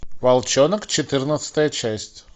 волчонок четырнадцатая часть